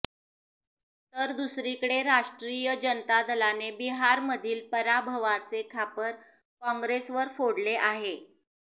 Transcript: तर दुसरीकडे राष्ट्रीय जनता दलाने बिहारमधील पराभवाचे खापर काँग्रेसवर फोडले आहे